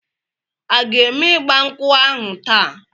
A ga eme igba nkwu ahu taa?